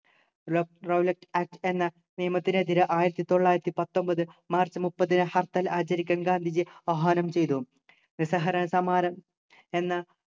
Rowlatt Act എന്ന നിയമത്തിനെതിരെ ആയിരത്തിത്തൊള്ളായിരത്തി പത്തൊമ്പത് മാർച്ച് മുപ്പതിന് ഹർത്താൽ ആചരിക്കാൻ ഗാന്ധിജിയെ ആഹ്വാനം ചെയ്തു നിസ്സഹകരണ സമരം എന്ന